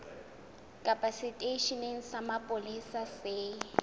kapa seteisheneng sa mapolesa se